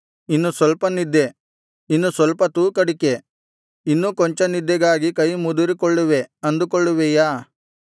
ಇನ್ನು ಸ್ವಲ್ಪ ನಿದ್ದೆ ಇನ್ನು ಸ್ವಲ್ಪ ತೂಕಡಿಕೆ ಇನ್ನೂ ಕೊಂಚ ನಿದ್ದೆಗಾಗಿ ಕೈಮುದುರಿಕೊಳ್ಳುವೆ ಅಂದುಕೊಳ್ಳುವಿಯಾ